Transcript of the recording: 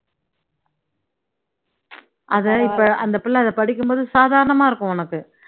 அதை இப்போ அந்த புள்ளை அதை படிக்கும் போது சாதாரணமா இருக்கும் உனக்கு